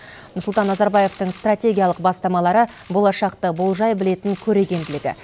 нұрсұлтан назарбаевтың стратегиялық бастамалары болашақты болжай білетін көрегенділігі